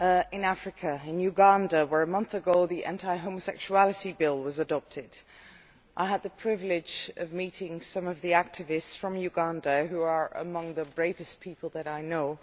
In Uganda, where a month ago the Anti Homosexuality Bill was adopted, I had the privilege of meeting some of the activists from that country, who are among the bravest people that I know.